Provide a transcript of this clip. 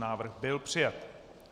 Návrh byl přijat.